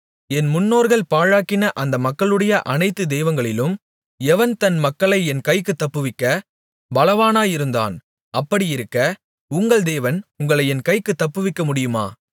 என் முன்னோர்கள் பாழாக்கின அந்த மக்களுடைய அனைத்து தெய்வங்களிலும் எவன் தன் மக்களை என் கைக்குத் தப்புவிக்கப் பலவானாயிருந்தான் அப்படியிருக்க உங்கள் தேவன் உங்களை என் கைக்குத் தப்புவிக்கமுடியுமா